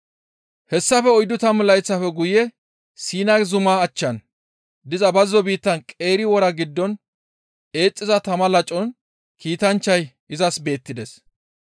«Hessafe oyddu tammu layththafe guye Siina zumaa achchan diza bazzo biittan qeeri wora giddon eexxiza tama lacon kiitanchchay izas beettides.